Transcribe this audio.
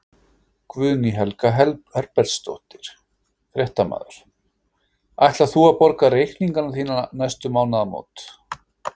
Guðný Helga Herbertsdóttir, fréttamaður: Ætlar þú að borga reikningana þína næstu mánaðamót?